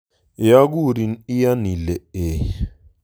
Yeokurin iyan ile e